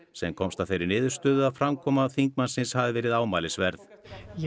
sem komst að þeirri niðurstöðu að framkoma þingmannsins hafi verið ámælisverð